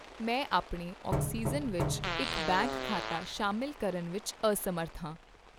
ਮੈਂ ਆਪਣੇ ਆਕਸੀਜਨ ਵਿੱਚ ਇੱਕ ਬੈਂਕ ਖਾਤਾ ਸ਼ਾਮਿਲ ਕਰਨ ਵਿੱਚ ਅਸਮਰੱਥ ਹਾਂ।